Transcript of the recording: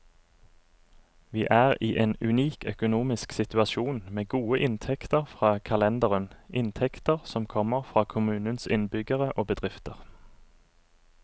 Vi er i en unik økonomisk situasjon, med gode inntekter fra kalenderen, inntekter som kommer fra kommunens innbyggere og bedrifter.